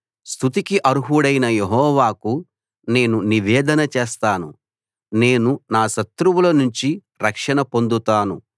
స్తుతికి అర్హుడైన యెహోవాకు నేను నివేదన చేస్తాను నేను నా శత్రువులనుంచి రక్షణ పొందుతాను